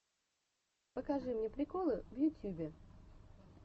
покажи мне приколы в ютюбе